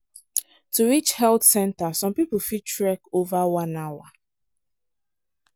to reach health centre some people fit trek over one hour.